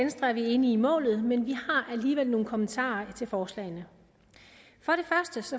venstre er vi enige i målet men vi har alligevel nogle kommentarer til forslaget